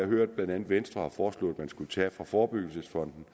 hørt at venstre har foreslået at man skulle tage fra forebyggelsesfonden